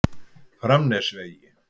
Framnesvegi